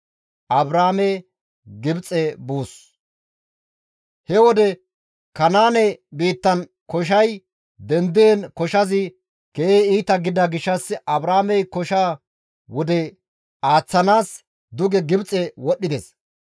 He wode Kanaane biittan koshay dendiin koshazi keehi iita gidida gishshas Abraamey kosha wode aaththanaas duge Gibxe wodhdhides.